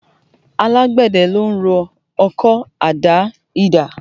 Alágbẹ̀dẹ ló ń rọ ọkọ́, àdá, idà